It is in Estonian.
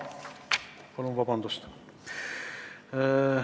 Palun vabandust!